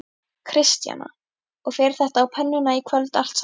Kristjana: Og fer þetta á pönnuna í kvöld allt saman?